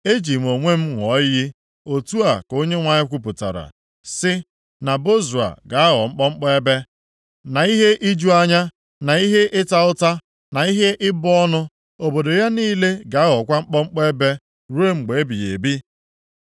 “Eji m onwe m ṅụọ iyi, otu a ka Onyenwe anyị kwupụtara, sị, na Bozra ga-aghọ mkpọmkpọ ebe, na ihe iju anya, na ihe ịta ụta, na ihe ịbụ ọnụ. Obodo ya niile ga-aghọkwa mkpọmkpọ ebe ruo mgbe ebighị ebi.”